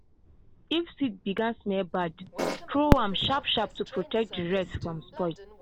if seed began smell bad throw am sharp-sharp to protect the rest from spoil.